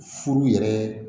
Furu yɛrɛ